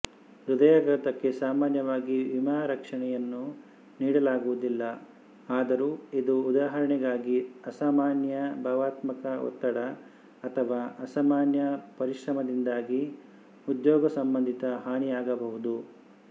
ಹೃದಯಾಘಾತಕ್ಕೆ ಸಾಮಾನ್ಯವಾಗಿ ವಿಮಾರಕ್ಷಣೆಯನ್ನು ನೀಡಲಾಗುವುದಿಲ್ಲ ಆದರೂ ಇದು ಉದಾಹರಣೆಗಾಗಿ ಅಸಾಮಾನ್ಯ ಭಾವನಾತ್ಮಕ ಒತ್ತಡ ಅಥವಾ ಅಸಾಮಾನ್ಯ ಪರಿಶ್ರಮದಿಂದಾಗಿ ಉದ್ಯೋಗಸಂಬಂಧಿತ ಹಾನಿಯಾಗಬಹುದು